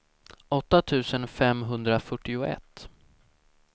åtta tusen femhundrafyrtioett